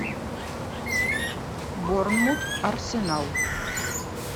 борнмут арсенал